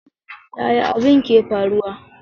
Yaya abin ke faruwa?